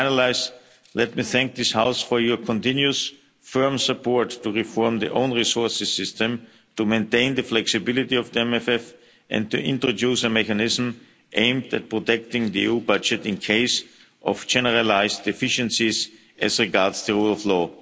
acts. Finally, let me thank this House for your continuous firm support to reform of the own resources system, to maintaining the flexibility of the MFF and to introducing a mechanism aimed at protecting the EU budget in case of generalised deficiencies as regards the rule